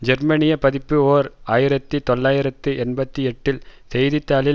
ஜெர்மனிய பதிப்பு ஓர் ஆயிரத்தி தொள்ளாயிரத்து எண்பத்தி எட்டில் செய்தி தாளின்